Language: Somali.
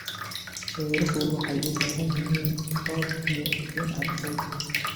Beeruhu waxay u baahan yihiin roob iyo iftiin cadceed.